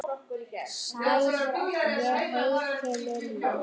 Sæl, ég heiti Lilla